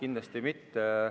Kindlasti mitte.